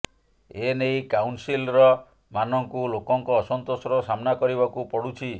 ଏନେଇ କାଉନସିଲର ମାନଙ୍କୁ ଲୋକଙ୍କ ଅସନ୍ତୋଷର ସାମ୍ନା କରିବାକୁ ପଡୁଛି